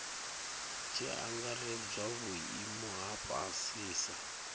tshi angaredzwa vhuimo ha fhasisa